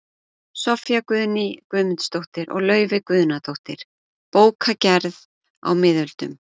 Soffía Guðný Guðmundsdóttir og Laufey Guðnadóttir, Bókagerð á miðöldum